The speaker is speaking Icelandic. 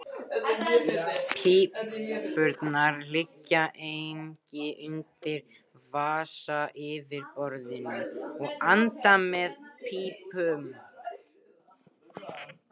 Púpurnar liggja einnig undir vatnsyfirborðinu og anda með pípum.